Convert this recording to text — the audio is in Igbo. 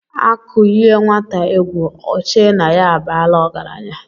Akụ yie nwata egwu Ọ chee na ya abaala ọgaranya.